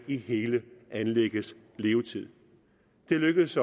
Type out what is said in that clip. i hele anlæggets levetid det lykkedes